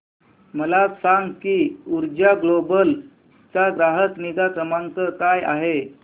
मला सांग की ऊर्जा ग्लोबल चा ग्राहक निगा क्रमांक काय आहे